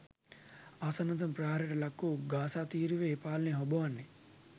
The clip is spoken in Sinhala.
ආසන්නතම ප්‍රහාරයට ලක්වූ ගාසා තීරුවෙහි පාලනය හොබවන්නේ